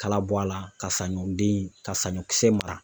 Kalabɔ a la, ka saɲɔ den, ka saɲɔ kisɛ mara.